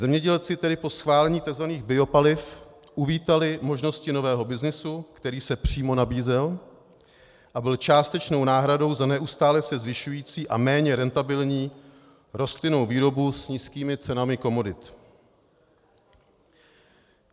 Zemědělci tedy po schválení tzv. biopaliv uvítali možnosti nového byznysu, který se přímo nabízel a byl částečnou náhradou za neustále se zvyšující a méně rentabilní rostlinnou výrobu s nízkými cenami komodit.